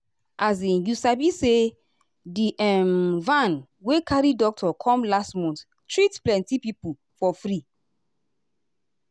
um you sabi say di um van wey carry doctor come last month treat plenty people for free.